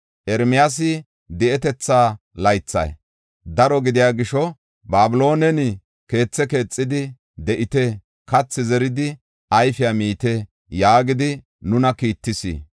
Ermiyaasi, di7etetha laythay daro gidiya gisho Babiloonen keethe keexidi de7ite; kathi zeridi ayfiya miite’ ” yaagidi nuna kiittis.